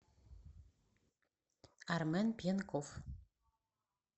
армен пьянков